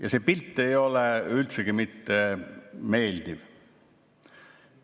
Ja see pilt ei ole üldsegi mitte meeldiv.